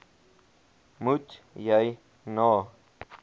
moet jy na